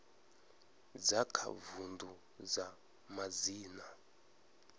dza kha vundu dza madzina